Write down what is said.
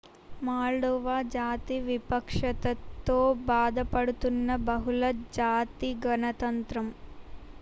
Moldova జాతి వివక్షతతో బాధపడుతున్న బహుళ జాతి గణతంత్రం